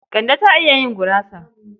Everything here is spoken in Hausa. Kande ta iya yin gurasa.